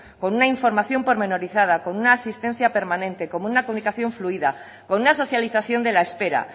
con una información pormenorizada con una asistencia permanente con una comunicación fluida con una socialización de la espera